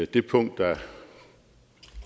det punkt der